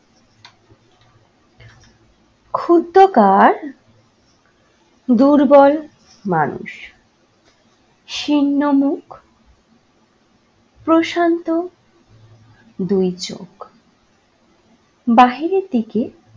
ক্ষুদ্রাকার দুর্বল মানুষ। শীর্ণ মুখ প্রশান্ত দুই চোখ। বাইরের দিকে